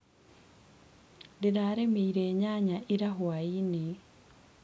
Ndĩrarĩmĩire nyanya ira hwainĩ.